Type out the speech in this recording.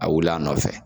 A wuli a nɔfɛ